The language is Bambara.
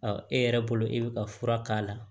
e yɛrɛ bolo e bɛ ka fura k'a la